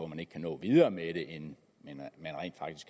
man ikke kan nå videre med det end